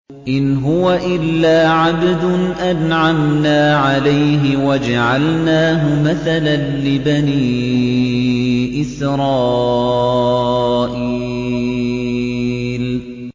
إِنْ هُوَ إِلَّا عَبْدٌ أَنْعَمْنَا عَلَيْهِ وَجَعَلْنَاهُ مَثَلًا لِّبَنِي إِسْرَائِيلَ